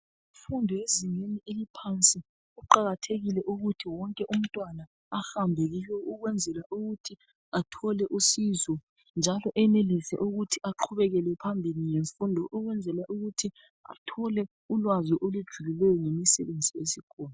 Imfundo yezingeni eliphansi kuqakathekile ukuthi wonke umntwana ahambe kiyo ukwenzela ukuthi athole usizo njalo enelise ukuthi aqhubekele phambili ngesfundo ukwenzela ukuthi athole ulwazi olujulileyo ngemsebenzi esikhona.